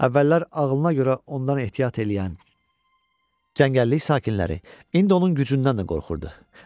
Əvvəllər ağlına görə ondan ehtiyat eləyən Cəngəllik sakinləri indi onun gücündən də qorxurdu.